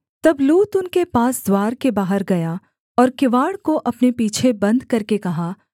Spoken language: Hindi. तब लूत उनके पास द्वार के बाहर गया और किवाड़ को अपने पीछे बन्द करके कहा